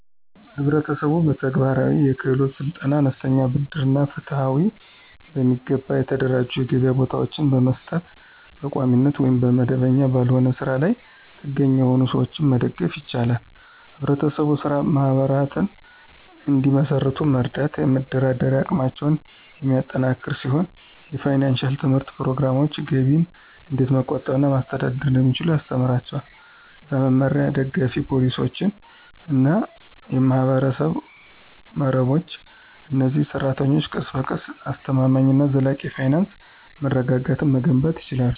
ህብረተሰቡ በተግባራዊ የክህሎት ስልጠና፣ አነስተኛ ብድር እና ፍትሃዊ፣ በሚገባ የተደራጁ የገበያ ቦታዎችን በመስጠት በቋሚነት ወይም መደበኛ ባልሆነ ስራ ላይ ጥገኛ የሆኑትን ሰዎች መደገፍ ይችላል። ህብረት ስራ ማህበራት እንዲመሰርቱ መርዳት የመደራደሪያ አቅማቸውን የሚያጠናክር ሲሆን የፋይናንሺያል ትምህርት ፕሮግራሞች ገቢን እንዴት መቆጠብ እና ማስተዳደር እንደሚችሉ ያስተምራቸዋል። በመመሪያ፣ ደጋፊ ፖሊሲዎች እና የማህበረሰብ መረቦች፣ እነዚህ ሰራተኞች ቀስ በቀስ አስተማማኝ እና ዘላቂ የፋይናንስ መረጋጋትን መገንባት ይችላሉ።